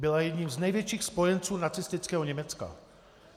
Byla jedním z největších spojenců nacistického Německa.